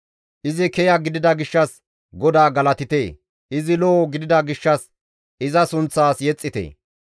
Izi kiya gidida gishshas GODAA galatite! Izi lo7o gidida gishshas iza sunththaas yexxite!